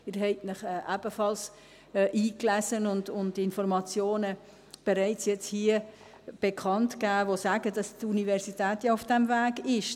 Sie haben sich ebenfalls eingelesen und hier bereits Informationen dazu bekannt gegeben, welche besagen, dass die Universität ja auf diesem Weg ist.